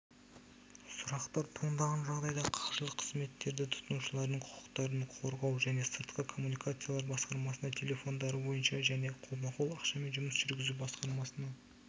сұрақтар туындаған жағдайда қаржылық қызметтерді тұтынушылардың құқықтарын қорғау және сыртқы коммуникациялар басқармасына телефондары бойынша және қолма-қол ақшамен жұмыс жүргізу басқармасына